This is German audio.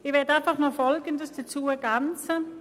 Ich möchte noch Folgendes ergänzen: